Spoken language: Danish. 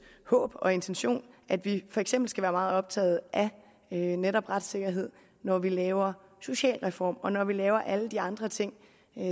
håb og intention at vi for eksempel skal være meget optaget af netop retssikkerhed når vi laver socialreform og når vi laver alle de andre ting